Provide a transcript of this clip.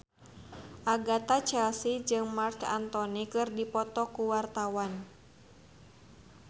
Agatha Chelsea jeung Marc Anthony keur dipoto ku wartawan